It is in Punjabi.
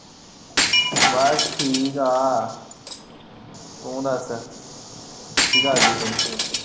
ਬਸ ਠੀਕ ਆ ਤੂੰ ਦੱਸ ਕੀ ਕਰਦੀ ਪਈ?